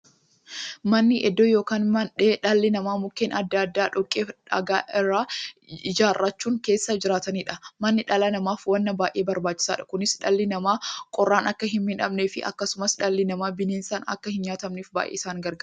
Manni iddoo yookiin mandhee dhalli namaa Mukkeen adda addaa, dhoqqeefi dhagaa irraa ijaarachuun keessa jiraataniidha. Manni dhala namaaf waan baay'ee barbaachisaadha. Kunis, dhalli namaa qorraan akka hinmiidhamneefi akkasumas dhalli namaa bineensaan akka hinnyaatamneef baay'ee isaan gargaara.